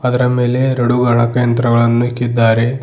ಅದರ ಮೇಲೆ ಎರಡು ಗಣಕಯಂತ್ರಗಳನ್ನು ಇಕ್ಕಿದ್ದಾರೆ.